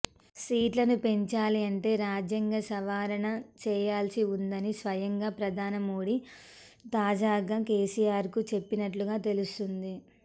సీట్లను పెంచాలి అంటే రాజ్యాంగ సవరణ చేయాల్సి ఉందని స్వయంగా ప్రధాని మోడీ తాజాగా కేసీఆర్కు చెప్పినట్లుగా తెలుస్తోంది